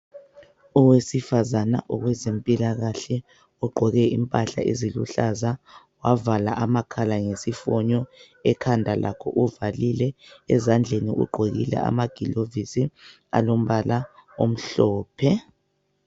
Owesifazana owezempilakahle ugqoke impahla eziluhlaza wavala amakhala ngesifonyo ekhanda lakhe uvalile ezandleni ugqokile amagilovisi alombala omhlophe.